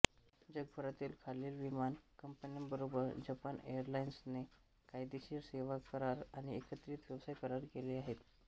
जगभरातील खालील विमान कंपन्यांबरोबर जपान एअरलाइन्सने कायदेशीर सेवाकरार आणि एकत्रित व्यवसाय करार केले आहेत